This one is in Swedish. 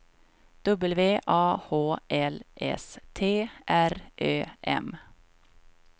W A H L S T R Ö M